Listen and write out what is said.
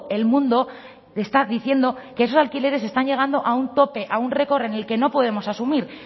el mundo está diciendo que esos alquileres están llegando a un tope a un record en el que no podemos asumir